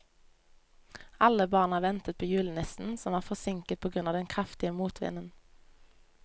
Alle barna ventet på julenissen, som var forsinket på grunn av den kraftige motvinden.